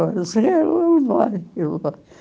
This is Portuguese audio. Ela disse, ele vai, ele vai.